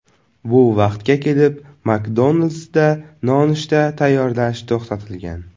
Bu vaqtga kelib McDonald’sda nonushta tayyorlash to‘xtatilgan.